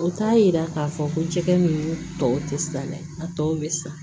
O t'a yira k'a fɔ ko jɛgɛ ninnu tɔw tɛ siran dɛ a tɔ bɛ sa